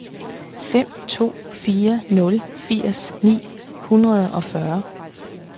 fem to fire nul firs ni hundrede og fyrre